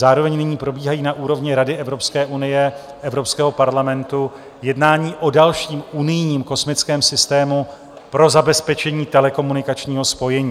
Zároveň nyní probíhají na úrovni Rady Evropské unie, Evropského parlamentu jednání o dalším unijním kosmickém systému pro zabezpečení telekomunikačního spojení.